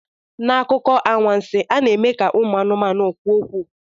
N'akụkọ anwansi, a na-eme ka ụmụ anụmanụ kwuo okwu.